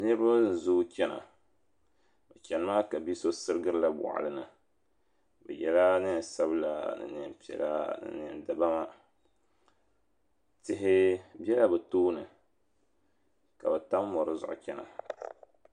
Niriba n zoo chana bɛ chani maa ka bia so sirigirila boɣulini bɛ yela niɛn sabla niɛn piɛla niɛn dibaa tihi bela bɛ tooni ka bɛ tam mori zuɣu chena.